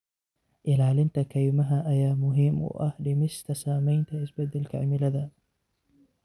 Ilaalinta kaymaha ayaa muhiim u ah dhimista saamaynta isbeddelka cimilada.